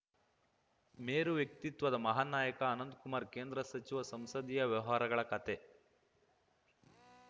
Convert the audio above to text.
ಮೇರು ವ್ಯಕ್ತಿತ್ವದ ಮಹಾನ್‌ ನಾಯಕ ಅನಂತ್ ಕುಮಾರ್‌ ಕೇಂದ್ರ ಸಚಿವ ಸಂಸದೀಯ ವ್ಯವಹಾರಗಳ ಖಾತೆ